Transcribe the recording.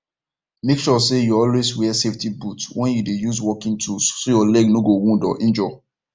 make sure say you always wear safety boot when you dey use working tools so your leg no go wound or injure